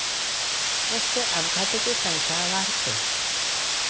रस्ते अपघातांची संख्या वाढतेय